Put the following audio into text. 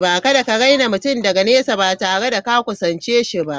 Kada ka raina mutum daga nesa ba tare da ka kusance shi ba.